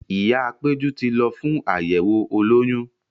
Ìyáa Péjú ti lọ fún àyẹ̀wò olóyún.